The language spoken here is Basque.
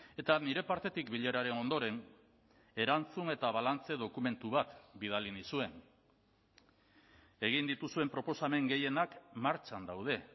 eta nire partetik bileraren ondoren erantzun eta balantze dokumentu bat bidali nizuen egin dituzuen proposamen gehienak martxan daude